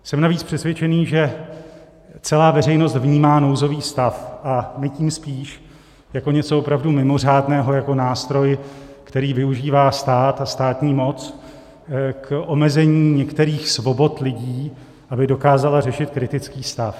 Jsem navíc přesvědčený, že celá veřejnost vnímá nouzový stav - a my tím spíš - jako něco opravdu mimořádného, jako nástroj, který využívá stát a státní moc k omezení některých svobod lidí, aby dokázala řešit kritický stav.